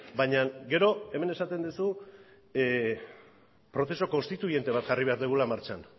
baina gero hemen esaten duzu prozesu konstituyente bat jarri behar dugula martxan